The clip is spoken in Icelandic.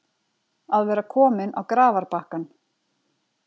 Að vera kominn á grafarbakkann